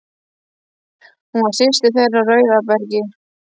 Hún var systir þeirra á Rauðabergi.